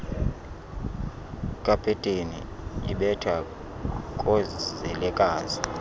kapeteni ibetha koozelekazi